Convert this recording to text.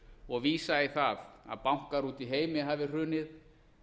og vísa í það að bankar úti í heimi hafi hrunið